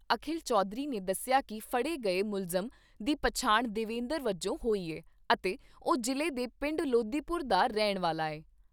ਅਖਿਲ ਚੌਧਰੀ ਨੇ ਦੱਸਿਆ ਕਿ ਫੜੇ ਗਏ ਮੁਲਜ਼ਮ ਦੀ ਪਛਾਣ ਦੇਵੇਦਰ ਵਜੋਂ ਹੋਈ ਐ ਅਤੇ ਉਹ ਜ਼ਿਲ੍ਹੇ ਦੇ ਪਿੰਡ ਲੋਦੀਪੁਰ ਦਾ ਰਹਿਣ ਵਾਲਾ ਐ।